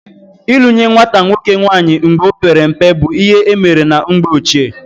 Ịlụ nye nwata nwoke nwaanyị mgbe ọ pere mpe bụ ihe emere na mgbe ochie